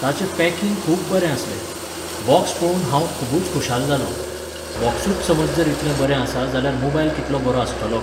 ताचे पॅकिंग खूब बरें आसलें. बॉक्स पळोवन हांव खुबूच खुशाल जालों. बॉक्सूच समज जर इतले बरें आसा जाल्यार मोबायल कितलो बरो आसतलो!